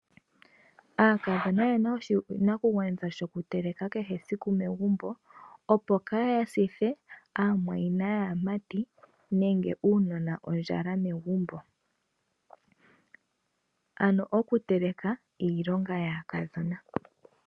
Aakadhona oyena oshinakugwanithwa shoku teleka kehe esiku megumbo, opo kaaya sithe aamwayina yaamati nenge uunona ondjala megumbo. Ano oku teleka iilonga yaakadhona.